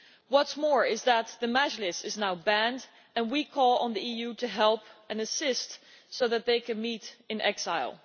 What is more, the Mejlis is now banned, and we call on the EU to help and assist so that they can meet in exile.